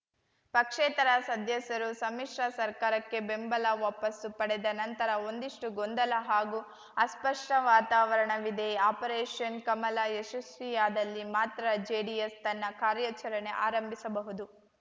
ಪಕ್ಷೇತರ ಸದಸ್ಯರು ಸಮ್ಮಿಶ್ರ ಸರ್ಕಾರಕ್ಕೆ ಬೆಂಬಲ ವಾಪಾಸ್ಸು ಪಡೆದ ನಂತರ ಒಂದಿಷ್ಟುಗೊಂದಲ ಹಾಗೂ ಅಸ್ಪಷ್ಟವಾತಾವರಣವಿದೆ ಆಪರೇಷನ್‌ ಕಮಲ ಯಶಸ್ವಿಯಾದಲ್ಲಿ ಮಾತ್ರ ಜೆಡಿಎಸ್‌ ತನ್ನ ಕಾರ್ಯಾಚರಣೆ ಆರಂಭಿಸಬಹುದು